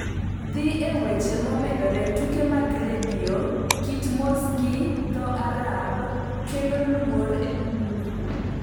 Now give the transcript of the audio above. Dhi e weche momedore tuke mag redio kit mos gi dho Arab kelo luoro e piny Misri